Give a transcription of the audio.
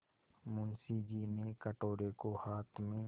मुंशी जी ने कटोरे को हाथ में